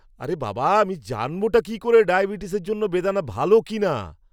আরে বাবা আমি জানবটা কী করে ডায়াবেটিসের জন্য বেদানা ভালো কিনা?